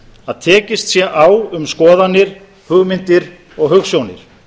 að tekist sé á um skoðanir hugmyndir og hugsjónir